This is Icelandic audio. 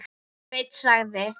Sveinn sagði.